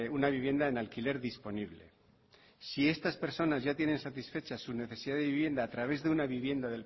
una vivienda en alquiler disponible si estas personas ya tienen satisfechas su necesidad de vivienda a través de una vivienda